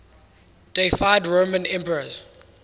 deified roman emperors